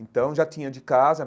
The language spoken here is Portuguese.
Então, já tinha de casa.